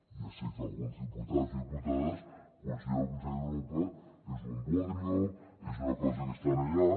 ja sé que alguns diputats i diputades consideren que el consell d’europa és un bodrio és una cosa que està allà